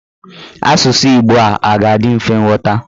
Asụsụ Igbo a ga-adị mfe ịghọta?